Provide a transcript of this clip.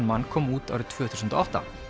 man kom út árið tvö þúsund og átta